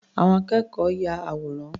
Àwọn akẹ́kọ̀ọ́ ya àwòrán.